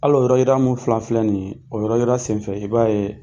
Hali o yɔrɔ yira min fana filɛ nin ye, o yɔrɔ yira senfɛ, i b'a ye